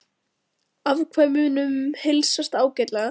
Afkvæmunum heilsast ágætlega